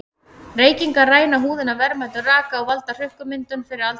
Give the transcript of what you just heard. Reykingar ræna húðina verðmætum raka og valda hrukkumyndun fyrir aldur fram.